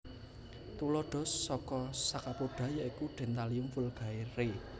Tuladha saka Scaphopoda yaiku Dentalium vulgare